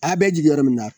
A bɛ jigin yɔrɔ min na